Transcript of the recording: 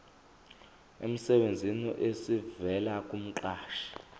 emsebenzini esivela kumqashi